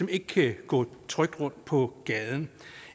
ikke kan gå trygt rundt på gaden